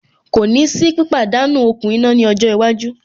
Kò ní sí pípàdánú okùn iná ní ọjọ́ iwájú.